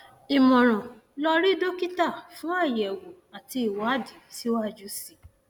ìmọràn lọ rí dókítà fún àyẹwò àti ìwádìí síwájú sí i